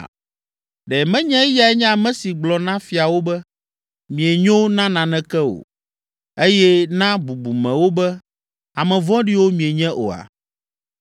Ɖe menye Eyae nye ame si gblɔ na fiawo be, ‘Mienyo na naneke o’ eye na bubumewo be, ‘Ame vɔ̃ɖiwo mienye’ oa,